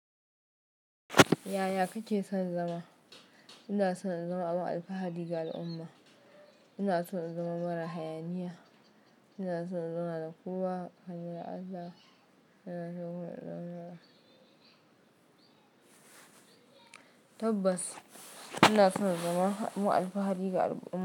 Yaya kake son zama? Ina son in zama abin alfahari ga al'umma. Ina son in zama mara hayaniya. Ina son in zama da kowa. Allah yana so mu. Tabbas ina son in zama abin alfahari ga al'umma.